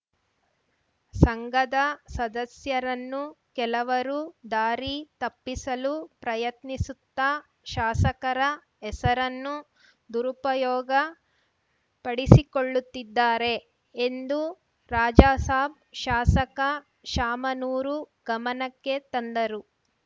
ಸಂಘದ ಸದಸ್ಯರನ್ನು ಕೆಲವರು ದಾರಿ ತಪ್ಪಿಸಲು ಪ್ರಯತ್ನಿಸುತ್ತಾ ಶಾಸಕರ ಹೆಸರನ್ನು ದುರುಪಯೋಗಪಡಿಸಿಕೊಳ್ಳುತ್ತಿದ್ದಾರೆ ಎಂದು ರಾಜಾಸಾಬ್‌ ಶಾಸಕ ಶಾಮನೂರು ಗಮನಕ್ಕೆ ತಂದರು